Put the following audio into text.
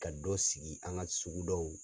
Ka dɔ sigi an ka sugudaw la.